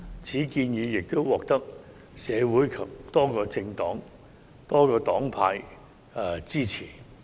此建議獲得社會及多個黨派支持。